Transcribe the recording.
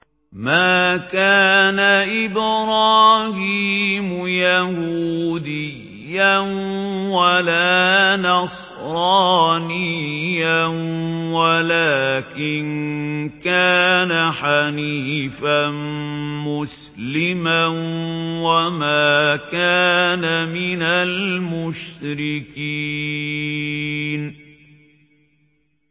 مَا كَانَ إِبْرَاهِيمُ يَهُودِيًّا وَلَا نَصْرَانِيًّا وَلَٰكِن كَانَ حَنِيفًا مُّسْلِمًا وَمَا كَانَ مِنَ الْمُشْرِكِينَ